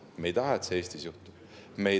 Me ei taha, et see Eestis juhtub.